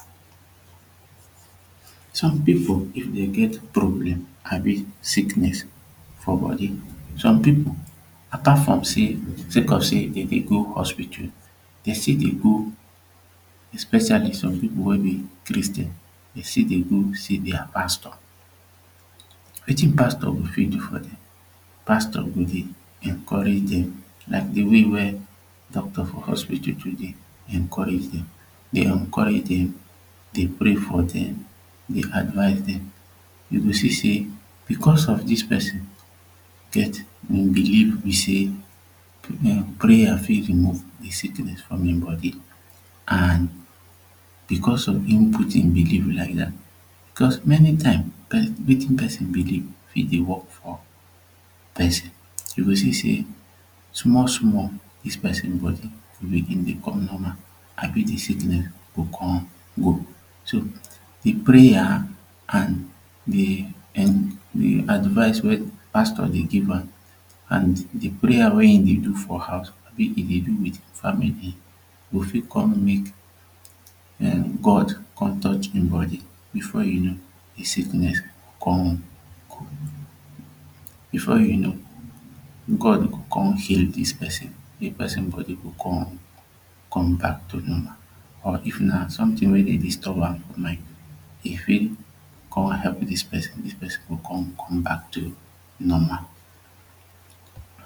Some people if dem get problem abi sickness for body some people apart from say sake of say dem dey go hospital dem still dey go especially some people wey be Christian dem still dey go see dia pastor wetin pastor go fit do for dem pastor go dey pastor go dey encourage dem like de way wia doctor for hospital go dey hospital dey encourage dem dey pray for dem dey advice dem you go see say becos of dis person get him belief be say prayer fit for remove de sickness from him body and becos of him put him belief like dat becos many time wetin person belief fit dey work for person you go see say small small dis person go begin dey come normal abi de sickness go come go so de prayer and de advice wey pastor dey give am an de prayer wey him dey do for house e dey do with family go fit come mek [um]God come touch him body before you know the sickness go come go before you know God go come heal dis person wey person body go come come back to normal or if na sometin wey dey disturb am e fit come help dis person dis person go come come back to normal